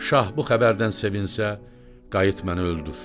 Şah bu xəbərdən sevinsə, qayıt məni öldür.